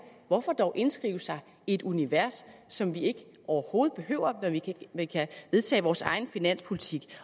hvorfor dog indskrive sig i et univers som vi overhovedet ikke behøver når vi kan vedtage vores egen finanspolitik